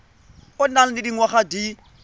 o nang le dingwaga di